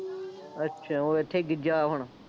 ਅੱਛਾ ਉਹ ਇੱਥੇ ਗਿੱਝ ਗਿਆ ਹੁਣ